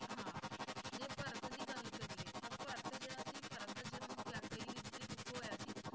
ਹਾਂ ਜੇ ਭਰਤ ਦੀ ਗੱਲ ਕਰੀਏ ਤਾਂ ਭਰਤ ਜਿਹੜਾ ਸੀ ਭਰਤ ਦਾ ਜਨਮ ਕੇਕਈ ਦੀ ਕੁੱਖੋਂ ਹੋਇਆ ਸੀ